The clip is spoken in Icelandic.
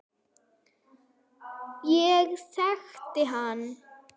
Ég þekkti hann